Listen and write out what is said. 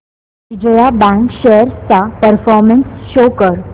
Vijaya bank shares चा performance show कर